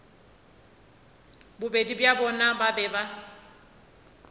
bobedi bja bona ba be